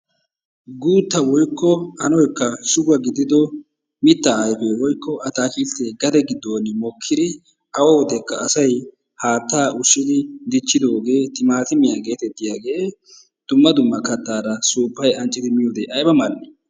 Guutta woykko anoykka shugo gidido mittaa ayfee woykko ataakiltee gade giddon mokkidi awa wodekka asay haattaa ushshidi diichidoogee timaatimiyaa getettiyaagee dumma duuma kaattaara suuppayi anccidi miyoode ayba mal"ii!